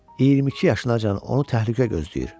22 yaşına can onu təhlükə gözləyir.